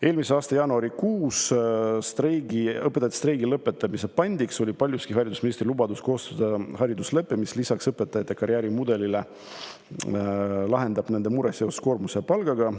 Eelmise aasta jaanuarikuus oli õpetajate streigi lõpetamise pandiks paljuski haridusministri lubadus koostada hariduslepe, mis lisaks õpetajate karjäärimudelile lahendab nende mure seoses koormuse ja palgaga.